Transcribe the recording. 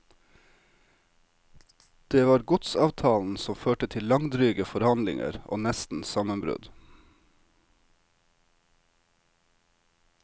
Det var godsavtalen som førte til langdryge forhandlinger og nesten sammenbrudd.